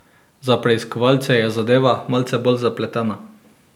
Za preiskovalce je zadeva malce bolj zapletena.